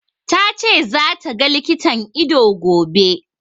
Ta ce za ta ga likitan ido, gobe.